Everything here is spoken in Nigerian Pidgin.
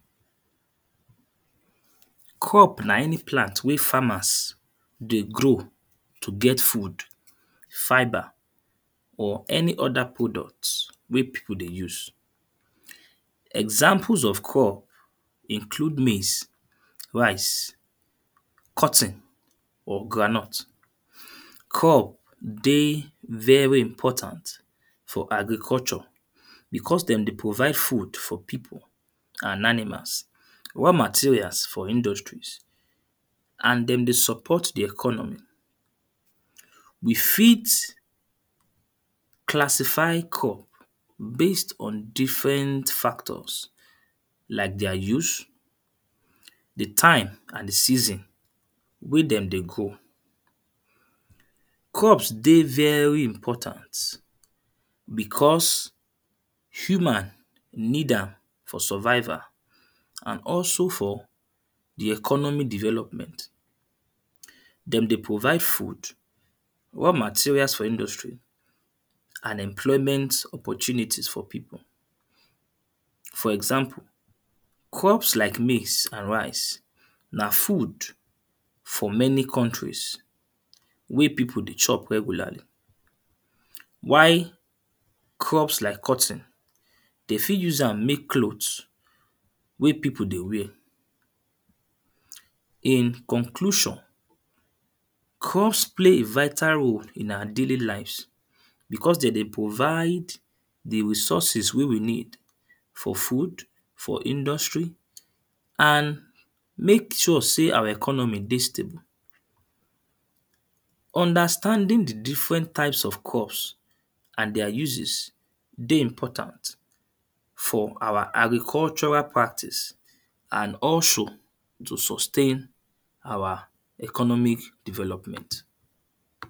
Crop na any plant wey farmers dey grow to get food, fibre or any other product wey people dey use. Examples of crop include maize, rice, cotton, or groundnut. Crop dey very important for agriculture because them dey provide food for people and animals, raw materials for industries and them dey support the economy. We fit classify crop based on different factors, like their use, the time and the season wey them dey grow. Crops dey very important because human need am for survival and also for the economy development. Them dey provide food, raw materials for industry, and employment opportunities for people. For example, crops like maize and rice, na food for many countries wey people dey chop regularly. While, crops like cotton then fit use am make clothes wey people dey wear. In conclusion, crops play a vital role in our daily lives because then dey provide the resources wey we need for food, for industry and make sure say our economy dey stable. Understanding the different types of crops and their uses dey important for our agricultural practice and also to sustain our economic development